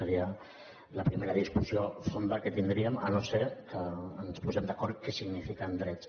seria la primera discussió fonda que tindríem si no és que ens posem d’acord en què signifiquen drets